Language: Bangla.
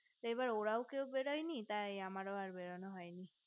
এবার ওরাও কেও বেড়াইনি তাই আমার বেড়ানো হয়নি